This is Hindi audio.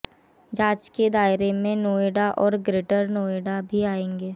जांच के दायरे में नोएडा और ग्रेटर नोएडा भी आएंगे